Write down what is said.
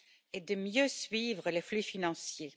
et de mieux suivre les flux financiers.